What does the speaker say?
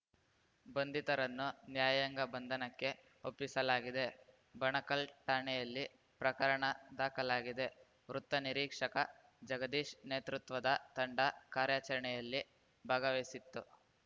ಬಂಧಿತರನ್ನು ನ್ಯಾಯಾಂಗ ಬಂಧನಕ್ಕೆ ಒಪ್ಪಿಸಲಾಗಿದೆ ಬಣಕಲ್‌ ಠಾಣೆಯಲ್ಲಿ ಪ್ರಕರಣ ದಾಖಲಾಗಿದೆ ವೃತ್ತ ನಿರೀಕ್ಷಕ ಜಗದೀಶ್‌ ನೇತೃತ್ವದ ತಂಡ ಕಾರ್ಯಾಚರಣೆಯಲ್ಲಿ ಭಾಗವಹಿಸಿತ್ತು